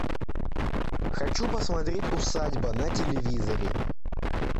хочу посмотреть усадьба на телевизоре